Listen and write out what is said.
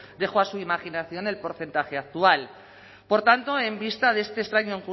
dejo a su imaginación el porcentaje actual por tanto en vista de este extraño